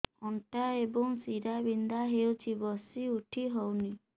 ଅଣ୍ଟା ଏବଂ ଶୀରା ବିନ୍ଧା ହେଉଛି ବସି ଉଠି ହଉନି